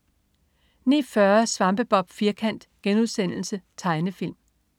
09.40 Svampebob Firkant.* Tegnefilm